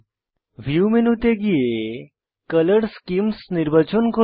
view মেনুতে গিয়ে colour schemes নির্বাচন করুন